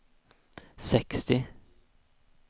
sextio